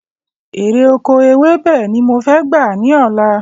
Èrè oko ewébè ni mo fẹ́ gbà ni ọ̀la